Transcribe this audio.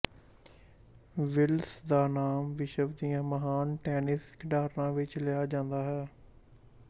wills ਦਾ ਨਾਮ ਵਿਸ਼ਵ ਦੀਆਂ ਮਹਾਨ ਟੈਨਿਸ ਖਿਡਾਰਨਾਂ ਵਿੱਚ ਲਿਆ ਜਾਂਦਾ ਹੈ